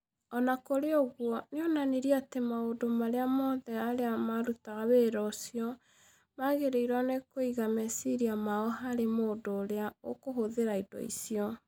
O na kũrĩ ũguo, nĩ onanirie atĩ maũndũ marĩa mothe arĩa marutaga wĩra ũcio magĩrĩirũo nĩ kũiga meciria mao harĩ mũndũ ũrĩa ũgũhũthĩra indo icio.